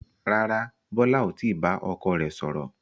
Rárá, Bọlá ò tí bá ọkọ rẹ sọ̀rọ̀